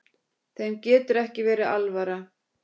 Þeim getur ekki verið alvara.